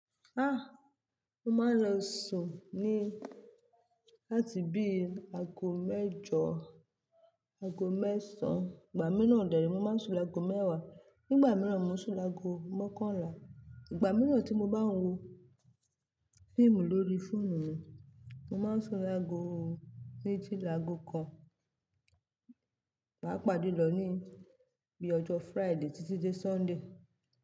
Ah! Mo máa ń lọ sùn ní láti bí àgó mẹ́jọ, àgó mẹ́sàn án. Ìgbà mìíràn deni, mo máa ń sùn l'ágo mẹ́wàá. Ní ìgbà mìíràn, mo sùn lágo mọ́kànlá. Ìgbà mìíràn tí mo bá ń wo fíìmù lórí fóònù mi, mo má ń sùn lágo méjì lágo kan. Paapaa julọ ní bí ọjọ́ Friday títí dé Sunday.